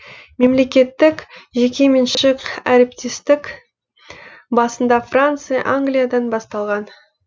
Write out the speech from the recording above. мемлекеттік жекеменшік әріптестік басында франция англиядан басталған